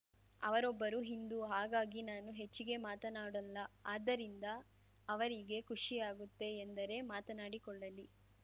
ಅವರೊಬ್ಬರು ಹಿಂದೂ ಹಾಗಾಗಿ ನಾನು ಹೆಚ್ಚಿಗೆ ಮಾತನಾಡೋಲ್ಲ ಅದ್ದರಿಂದ ಅವರಿಗೆ ಖುಷಿ ಆಗುತ್ತೆ ಎಂದರೆ ಮಾತನಾಡಿಕೊಳ್ಳಲಿ